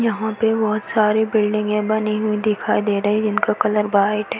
यहा पे (पर) बहोत (बहुत) सारी बिल्डिंगे बनी हुई दिखाई दे रही है जिनका कलर व्हाइट है।